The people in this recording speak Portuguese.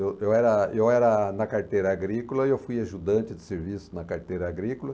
Eu era eu era na carteira agrícola e eu fui ajudante de serviço na carteira agrícola.